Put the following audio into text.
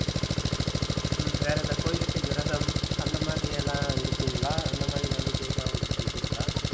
ஹம் வேற இந்த கோவிலுக்கு விரதம் அந்த மாதிரியெல்லாம் இருப்பீங்களா அந்த மாதிரி நம்பிக்கையெல்லாம் உங்களுக்கு இருக்கிறதா?